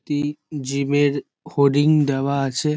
টি gym -এর hoarding দেওয়া আছে।